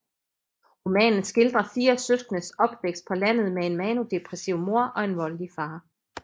Romanen skildrer fire søskendes opvækst på landet med en maniodepressiv mor og en voldelig far